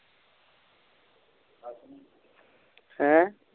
ਹੈਂ